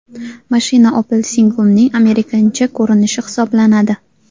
Mashina Opel Signum’ning amerikancha ko‘rinishi hisoblanadi.